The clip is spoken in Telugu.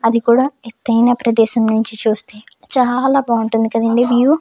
అది కూడా ఎత్తైన ప్రదేశం నుంచి చూస్తే చాలా బాగుంటుంది కదండీ వ్యూ .